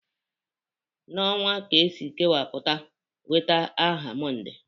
N'ọnwa ka e si kewapụta weta aha Mọnde